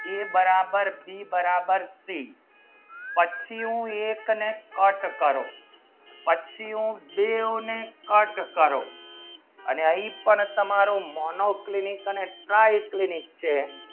બે બરાબર બે બરાબર તિન પચ્યું એક ને cut કરો પછી ડીયુ ને cut કરો અને એ પણ તમારો monoclinic ને કઈ clinic છે